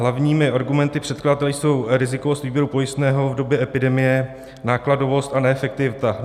Hlavními argumenty předkladatele jsou rizikovost výběru pojistného v době epidemie, nákladovost a neefektivita.